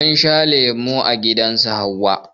Mun sha lemon mangwaro a gidan su Hauwa